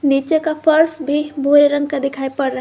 नीचे का फर्श भी भूरे रंग का दिखाई पड़ रहा--